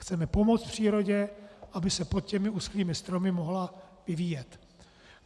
Chceme pomoct přírodě, aby se pod těmi uschlými stromy mohla vyvíjet.